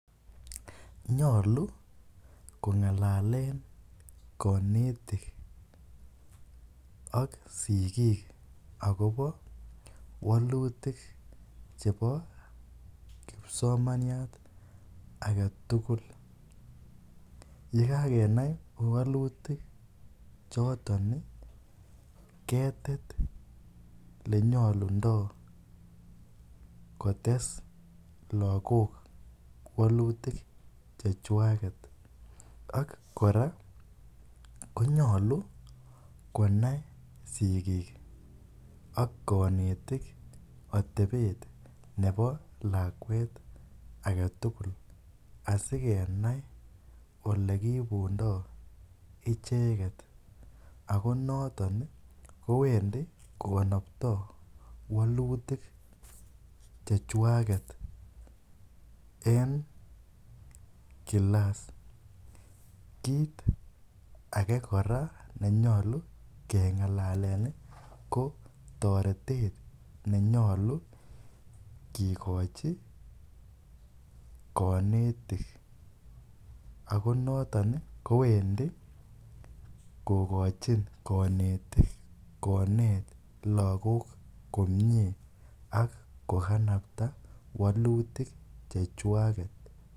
Nyaluu ko ngalaleen kanetiik ak sigiik agobo walutiik chebo kipsomaniat age tugul ye kagekanai walutiik chotoon ii ketet lenyalundaa kotes lagook walutiik che chwageet ak kora konyaluu konai sigiik ak kanetiik atebeet nebo lakwet ake tugul asikenai ole kiibundoi ichegeet ako notoon ii kowendii ko kanaptoi walutiik che chwageet en [classs] kit age kora ne nyaluu kengalalen ko taretet nenyoluu kigokochi konetiin ako notoon ii kowendii kogochiiin kanetiik kobeet lagook komyei ak kokanaptaa walutiik che chwageet.